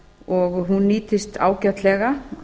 og hún nýtist ágætlega